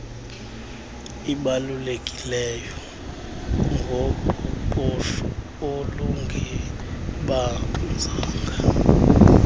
ibalulekileyo ngoqoqosho olungebanzanga